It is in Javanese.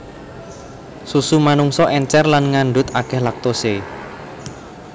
Susu manungsa èncèr lan ngandhut akèh lactose